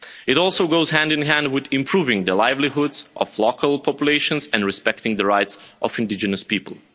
It also goes hand in hand with improving the livelihoods of local populations and respecting the rights of indigenous people.